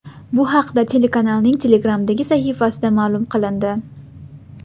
Bu haqda telekanalning Telegram’dagi sahifasida ma’lum qilindi .